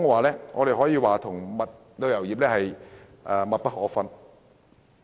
零售業與旅遊業可謂密不可分。